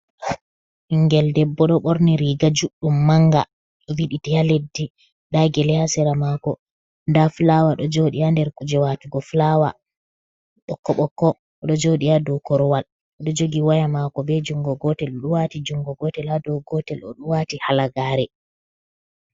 Ɓingel debbo ɗo ɓorni riga juɗɗum manga ɗo widiti ha leɗɗi nɗa gele ha sera mako nda fulawa ɗo joɗi ha nder kuje watugo fulaawa oɗo joɗi ha dou korowal oɗo jogi waya mako be jungo gotel oɗo wati jungo gotel ha dou gotel oɗo wati halagare.